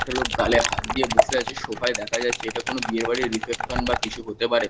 একটা লোক গালে হাত দিয়ে বসে আছে সোফা -য় দেখা যাচ্ছে এটা কোন বিয়ে বাড়ির রিসেপশন বা কিছু হতে পারে।